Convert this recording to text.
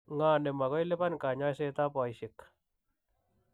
Ng'o ne ma ko liban kanyoisetab boisek?